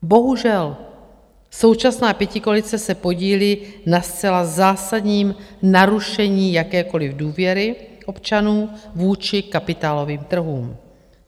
Bohužel, současná pětikoalice se podílí na zcela zásadním narušení jakékoliv důvěry občanů vůči kapitálovým trhům.